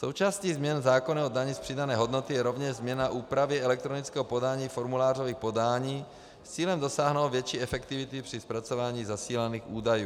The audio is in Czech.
Součástí změn zákona o dani z přidané hodnoty je rovněž změna úpravy elektronického podání formulářových podání s cílem dosáhnout větší efektivity při zpracování zasílaných údajů.